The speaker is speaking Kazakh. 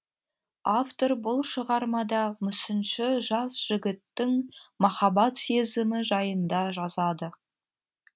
автор бұл шығармада мүсінші жас жігіттің махаббат сезімі жайында жазады